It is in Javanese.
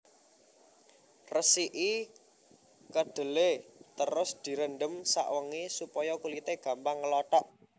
Resiki kedhelé terus direndhem sawengi supaya kulité gampang nglothok